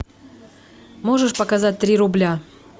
можешь показать три рубля